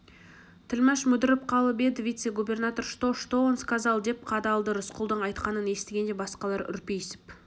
тілмаш мүдіріп қалып еді вице-губернатор что что он сказал деп қадалды рысқұлдың айтқанын естігенде басқалар үрпиісіп